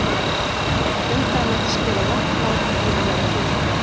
Um það mætti skrifa langt mál í annan tíma.